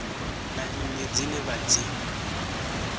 na nnyi dzine vha dzi